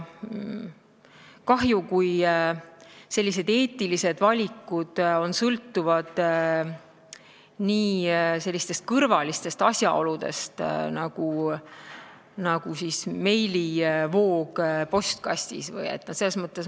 Kahju, kui eetilised valikud sõltuvad sellistest kõrvalistest asjaoludest, nagu on meilivoog postkastis.